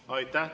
Aitäh!